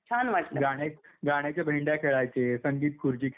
गाणं एक गाण्याच्या भेंड्या खेळायचे, संगीत खुर्ची खेळायचे.